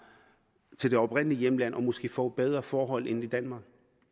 til det oprindelige hjemland og måske får bedre forhold end i danmark